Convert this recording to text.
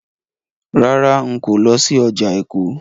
Rárá, n kò lọ sí ọjà Èkó.